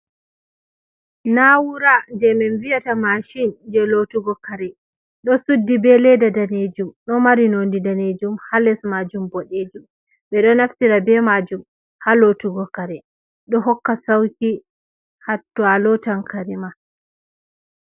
Na'uwura je min viyata Mashin je lotugo kare.ɗo Suddi be leda Danejum ɗo mari nondi Danejum ha les majum Boɗejum. ɓe ɗo naftira be Majum ha lotugo Kare. ɗo hokka Sauki hatto a lotan Karema.